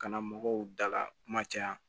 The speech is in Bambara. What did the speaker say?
Kana mɔgɔw dala kuma caya